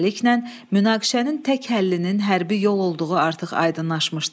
Beləliklə, münaqişənin tək həllinin hərbi yol olduğu artıq aydınlaşmışdı.